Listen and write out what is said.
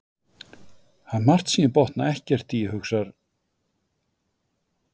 Það er margt sem ég botna ekkert í, hugsar